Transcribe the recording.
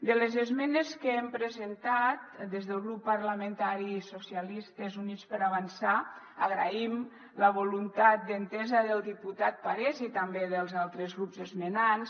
de les esmenes que hem presentat des del grup parlamentari socialistes i units per avançar agraïm la voluntat d’entesa del diputat parés i també dels altres grups esmenants